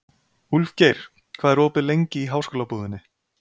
Úlfgeir, hvað er opið lengi í Háskólabúðinni?